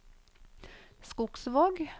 Skogsvåg